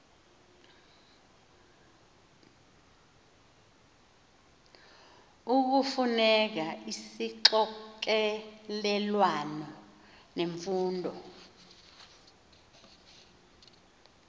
ekufuneka isixokelelwano semfundo